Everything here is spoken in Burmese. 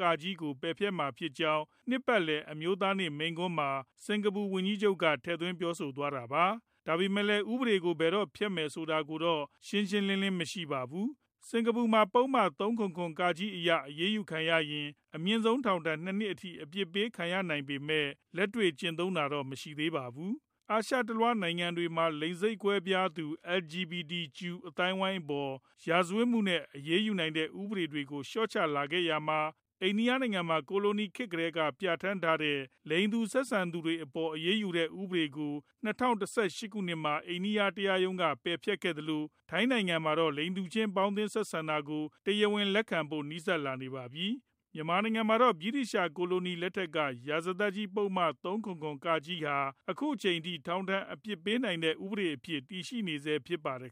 က) ကို ပယ်ဖျက်မှာဖြစ်ကြောင်း နှစ်ပတ်လည် အမျိုးသားနေ့ မိန့်ခွန်းမှာ စင်ကာပူဝန်ကြီးချုပ်က ထည့်သွင်းပြောဆိုသွားတာပါ။ ဒါပေမဲ့လည်း ဥပဒေကို ဘယ်တော့ ပယ်ဖျက်မလဲဆိုတာကတော့ ရှင်းရှင်းလင်းလင်း မရှိပါဘူး။ စက်ကာပူမှာ ပုဒ်မ ၃၇၇ (က) အရ အရေးယူခံရရင် အမြင့်ဆုံး ထောင်ဒဏ် ၂ နှစ်အထိ အပြစ်ပေးခံရနိုင်ပေမဲ့ လက်တွေ့ကျင့်သုံးတာတော့ မရှိပါဘူး။ အာရှတလွှား နိုင်ငံတွေမှာ လိင်စိတ်ကွဲပြားသူ LGBTQ အသိုင်းအဝိုင်းအပေါ် ရာဇဝတ်မှုနဲ့ အရေးယူနိုင်တဲ့ ဥပဒေတွေကို လျှော့ချလာခဲ့ရာမှာ အိန္ဒိယနိုင်ငံမှာ ကိုလိုနီခေတ်ကတည်း ပြဌာန်းထားတဲ့ လိင်တူဆက်ဆံသူတွေအပေါ် အရေးယူတဲ့ ဥပဒေကို ၂၀၁၈ ခုနှစ်မှာ အိန္ဒိယတရားရုံးချုပ်က ပယ်ဖျက်ခဲ့သလို၊ ထိုင်းနိုင်ငံမှာတော့ လိင်တူချင်း ပေါင်းသင်းတာကို တရားဝင်လက်ခံဖို့ နီးစပ်လာနေပါပြီ။ မြန်မာနိုင်ငံမှာတော့ ဗြိတိသျှကိုလိုနီ လက်ထက်က ရာဇသတ်ကြီးပုဒ်မ ၃၇၇ (က) ဟာ အခုအထိ ထောင်ဒဏ်အပြစ်ပေးနိုင်တဲ့ ဥပဒေအဖြစ် တည်ရှိနေဆဲဖြစ်ပါတယ်